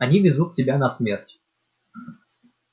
они везут тебя на смерть